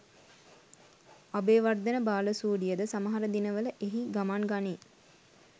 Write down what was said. අබේවර්ධන බාලසූරියද සමහර දිනවල එහි ගමන් ගනී.